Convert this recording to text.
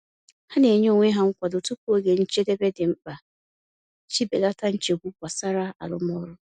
Ha na-enye onwe ha nkwado tupu oge njedebe dị mkpa iji belata nchegbu gbasara arụmọrụ.